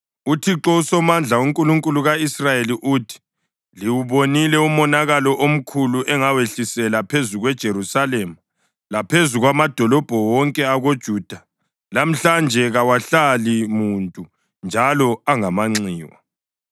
“ UThixo uSomandla, uNkulunkulu ka-Israyeli uthi: Liwubonile umonakalo omkhulu engawehlisela phezu kweJerusalema laphezu kwamadolobho wonke akoJuda. Lamhlanje kawahlali muntu njalo angamanxiwa